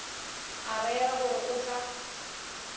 a rera gore o tla